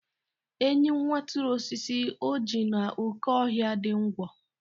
Enyi kwaturu osisi ọjị n'oké ọhịa dị Ngwo.